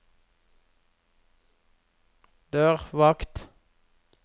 dørvakt